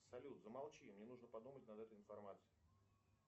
салют замолчи мне нужно подумать над этой информацией